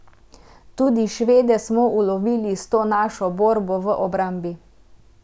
Tudi Švede smo ulovili s to našo borbo v obrambi.